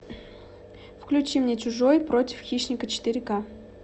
включи мне чужой против хищника четыре к